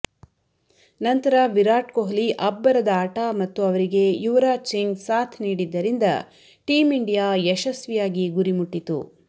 ನಂತರ ವಿರಾಟ್ ಕೊಹ್ಲಿ ಅಬ್ಬರದ ಆಟ ಮತ್ತು ಅವರಿಗೆ ಯುವರಾಜ್ ಸಿಂಗ್ ಸಾಥ್ ನೀಡಿದ್ದರಿಂದ ಟೀಂ ಇಂಡಿಯಾ ಯಶಸ್ವಿಯಾಗಿ ಗುರಿಮುಟ್ಟಿತು